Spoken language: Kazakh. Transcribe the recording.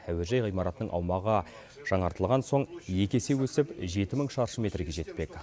әуежай ғимаратының аумағы жаңартылған соң екі есе өсіп жеті мың шаршы метрге жетпек